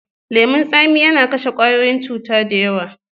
Leman tsami yana kashe kwayoyin cuta da yawa.